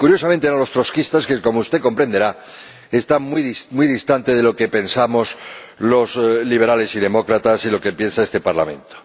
Y, curiosamente, eran los trotskistas, que, como usted comprenderá, están muy distantes de lo que pensamos los liberales y demócratas y de lo que piensa este Parlamento.